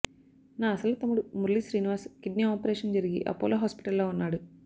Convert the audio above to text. నా అసలు తమ్ముడు మురళి శ్రీనివాస్ కిడ్నీ ఆపరేషన్ జరిగి ఆపోలో హాస్పిటల్లో ఉన్నాడు